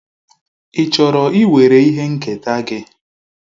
Ị chọrọ iwere ihe nketa gị?